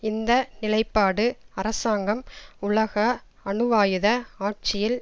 இந்த நிலைப்பாடு அரசாங்கம் உலக அணுவாயுத ஆட்சியில்